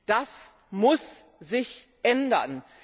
Das muss sich ändern!